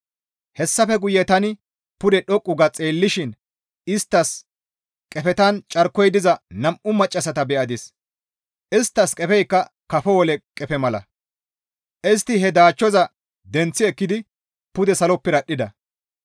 Hessafe guye tani pude dhoqqu ga xeellishin isttas qefetan carkoy diza nam7u maccassata be7adis; isttas qefeykka kafo wole qefe mala; istti he daachchoza denththi ekkidi pude salo piradhdhida.